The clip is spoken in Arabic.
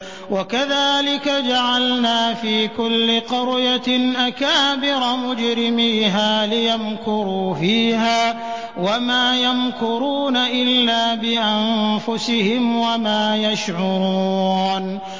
وَكَذَٰلِكَ جَعَلْنَا فِي كُلِّ قَرْيَةٍ أَكَابِرَ مُجْرِمِيهَا لِيَمْكُرُوا فِيهَا ۖ وَمَا يَمْكُرُونَ إِلَّا بِأَنفُسِهِمْ وَمَا يَشْعُرُونَ